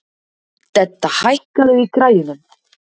Dedda, hækkaðu í græjunum.